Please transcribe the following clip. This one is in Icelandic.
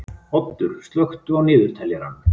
Oddur, slökktu á niðurteljaranum.